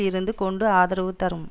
இருந்து கொண்டு ஆதரவு தரும்